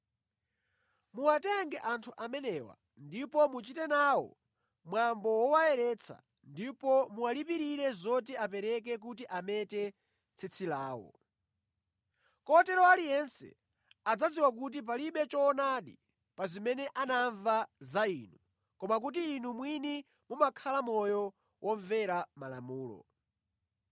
Muwatenge anthu amenewa, ndipo muchite nawo mwambo wowayeretsa ndipo muwalipirire zoti apereke kuti amete tsitsi lawo. Kotero aliyense adzadziwa kuti palibe choonadi pa zimene anamva za inu, koma kuti inu mwini mumakhala moyo womvera Malamulo.